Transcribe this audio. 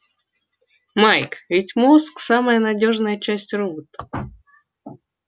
майк ведь мозг самая надёжная часть робота